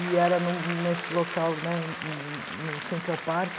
E era no nesse local, né, no no Central Park.